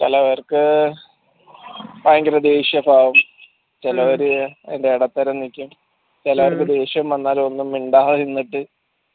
അങ്ങനെയാണ് പിന്നെ ഓരോ customers ന് ഓരോ ഇതുണ്ടല്ലോ ചെലവർക്ക് ഭയങ്കര ദേഷ്യക്കെ ആകും ചെലവര് അതിന്റെ ഇടത്തരം നിക്കും ചിലർക്ക് ദേഷ്യം വന്നാൽ ഒന്നും മിണ്ടാതെ നിന്നിട്ട്